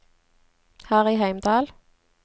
Harry Heimdal